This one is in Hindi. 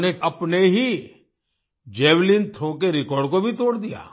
उन्होंने अपने ही जावेलिन थ्रो के रेकॉर्ड को भी तोड़ दिया